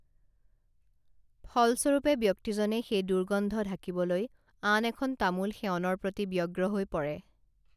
ফলস্বৰূপে ব্যক্তিজনে সেই দূৰ্গন্ধ ঢাকিবলৈ আন এখন তামোল সেৱনৰ প্ৰতি ব্যগ্ৰ হৈ পৰে